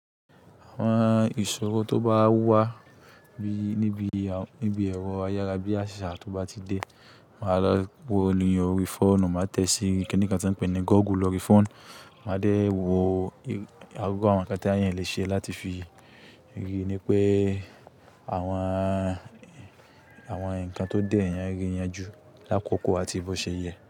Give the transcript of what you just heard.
Àwọn ìṣòro tó bá wà níbi ẹ̀rọ ayárabiasa, tó bá ti dé, màá lọ wo lóri fóònù, màá tẹ sí kini kan tí wọ́n ń pè ní Google lorí fóònù, màá dé wo gbogbo àwọn ǹkan tí eeyan le ṣe láti fi rí i ní pé àwọn ǹkan tó dé yẹn, rí i yẹn jù lákòókò àti bó ṣe yẹ.